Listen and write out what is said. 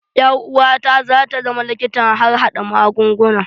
Ƴar uwata za ta zama likitan harhaɗa magunguna.